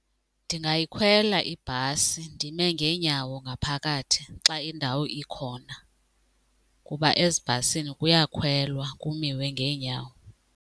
Ndingayikhwela ibhasi ndime ngeenyawo ngaphakathi xa indawo ikhona kuba ezibhasini kuyakhwelwa kumiwe ngeenyawo.